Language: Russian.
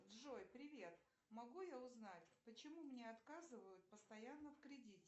джой привет могу я узнать почему мне отказывают постоянно в кредите